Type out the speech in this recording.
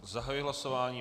Zahajuji hlasování.